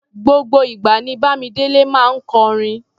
Gbogbo ìgbà ní Bámidélé máa ń kọrin.